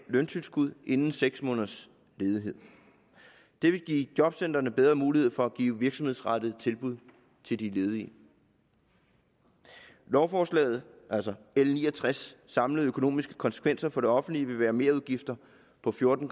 løntilskud inden seks måneders ledighed det vil give jobcentrene bedre mulighed for at give virksomhedsrettede tilbud til de ledige lovforslagets altså l ni og tres samlede økonomiske konsekvenser for det offentlige vil være merudgifter på fjorten